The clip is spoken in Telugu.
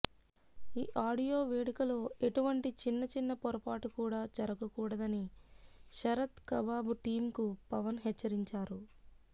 ఈ ఆడియో వేడుకలో ఎటువంటి చిన్న చిన్న పొరపాటు కూడా జరగకూడదని శరత్ కబాబు టీమ్ కు పవన్ హెచ్చరించారు